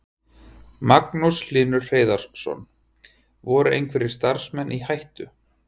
Magnús Hlynur Hreiðarsson: Voru einhverjir starfsmenn í hættu?